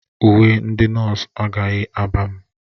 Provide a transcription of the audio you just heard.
Uwe ndị nọọsụ agaghị aba m.